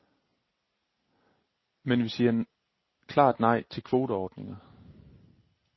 Men vi siger klart nej til kvoteordninger.